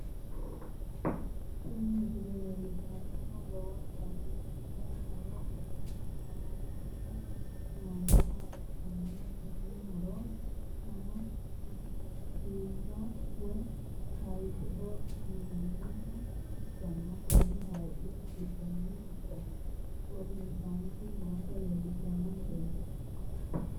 tini misile leellishshannohu lowontanni biiffino muro la''anni noommoha ikkanna, tenne muro su'mino biira woy hayiixeho yinanniha ikkanna, konni hayiixi giddoonni odeessaaanchu noota leellishshanno misileeti.